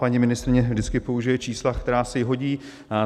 Paní ministryně vždycky použije čísla, která se jí hodí.